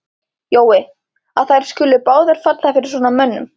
Jói, að þær skuli báðar falla fyrir svona mönnum.